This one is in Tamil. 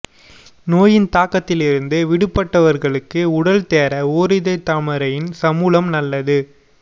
நோயின் தாக்கத்திலிருந்து விடுபட்டவர்களுக்கு உடல் தேற ஒரிதழ் தாமரையின் சமூலம் நல்ல